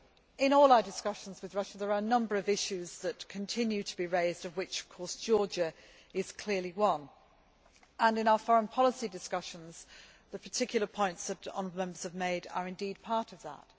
In all our discussions with Russia there are a number of issues that continue to be raised of which, of course, Georgia is clearly one, and in our foreign policy discussions the particular points that honourable Members have made are indeed part of that.